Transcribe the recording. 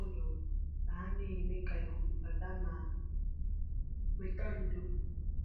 ụlọ ka ha na-eme ka ikuku bata ma weta ndo